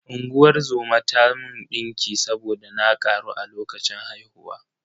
Unguwar zoma ta mun ɗinki saboda na ƙaru a lokacin haihuwa.